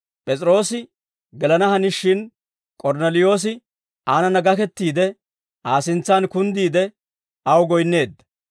P'es'iroosi gelana hanishin, K'ornneliyoosi aanana gakettiide, Aa sintsan kunddiide, aw goyinneedda.